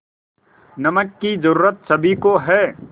नमक की ज़रूरत सभी को है